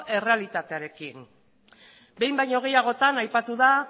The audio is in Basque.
errealitatearekin behin baino gehiagotan aipatu da